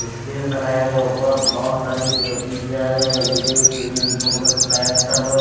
Space लगाया गया है ऊपर बहुत सारी पी_ओ_पी किया गया है एल_ई_डी ग्रीन ब्लू कलर की लाइट चालू है।